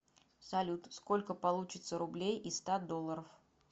салют сколько получится рублей из ста долларов